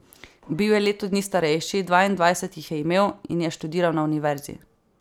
Bil je leto dni starejši, dvaindvajset jih je imel, in je študiral na univerzi.